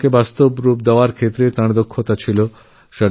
পরিকল্পনাবাস্তবায়নে তাঁর এক মহান ক্ষমতা ছিল